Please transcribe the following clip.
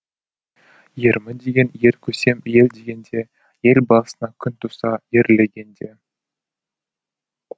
ермін деген ер көсем ел дегенде ел басына күн туса ерлегенде